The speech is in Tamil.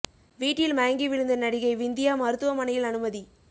வீட்டில் மயங்கி விழுந்த நடிகை விந்தியா மருத்துவமனையில் அனுமதி